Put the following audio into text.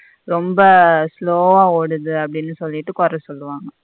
ரெம்ப slow வ ஓடுது அப்படினு சொல்லிட்டு கொற சொல்லுவாங்க.